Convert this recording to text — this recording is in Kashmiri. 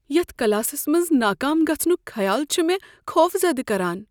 یتھ کلاسس منٛز ناکام گژھنک خیال چھ مےٚ خوفزدٕ کران۔